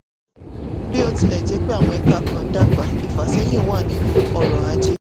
bí ó ó tilẹ̀ jẹ́ pé àwọn ẹka kan dàgbà ìfàsẹ́yìn wà nínú ọrọ̀-ajé.